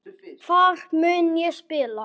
Hvar mun ég spila?